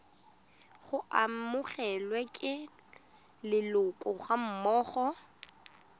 go amogelwa ke leloko gammogo